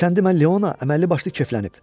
Sən demə Leona əməlli başlı keflənib.